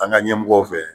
An ka ɲɛmɔgɔw fɛ